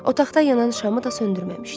Otaqda yanan şamı da söndürməmişdi.